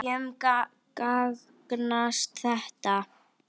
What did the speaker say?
Hverjum gagnast þetta?